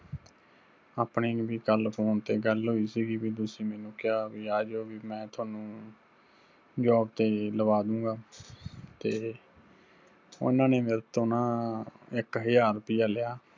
ਆਪਣੀ ਵੀ ਕੱਲ phone ਤੇ ਗੱਲ ਹੋਈ ਸਿਗੀ, ਵੀ ਤੁਸੀਂ ਮੈਨੂੰ ਕਿਹਾ ਵੀ ਆਜੋ ਵੀ ਮੈਂ ਤੁਹਾਨੂੰ job ਤੇ ਲਵਾ ਦੂੰਗਾ। ਤੇ ਉਹਨਾ ਨੇ ਮੇਰੇ ਤੋਂ ਨਾ ਇੱਕ ਹਜ਼ਾਰ ਰੁਪਈਆ ਲਿਆ